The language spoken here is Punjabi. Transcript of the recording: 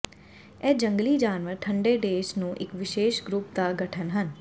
ਇਹ ਜੰਗਲੀ ਜਾਨਵਰ ਠੰਡੇ ਦੇਸ਼ ਨੂੰ ਇੱਕ ਵਿਸ਼ੇਸ਼ ਗਰੁੱਪ ਦਾ ਗਠਨ ਹਨ